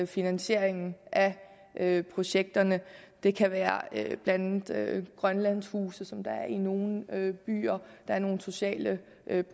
finansieringen af projekterne det kan være blandt andet grønlandhuse som der er i nogle byer der er nogle sociale